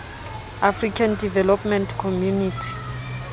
african development community